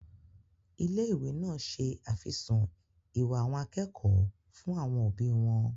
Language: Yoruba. Ilé-ìwé náà se àfisùn ìwà àwọn akẹ́kọ̀ọ́ fún àwọn òbí wọn.